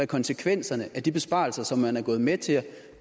konsekvenser de besparelser som man er gået med til